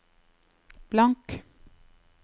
blank